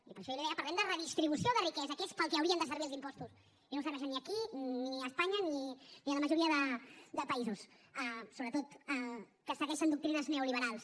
i per això jo li deia parlem de redistribució de riquesa que és per al que haurien de servir els impostos i no serveixen ni aquí ni a espanya ni a la majoria de països sobretot que segueixen doctrines neoliberals